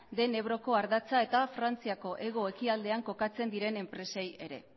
den ebroko ardatza eta frantziako hego ekialdean kokatzen diren enpresei ere